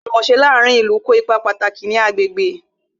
Àjùmòse láàárín ìlú kó ipa pàtàkì ní agbègbè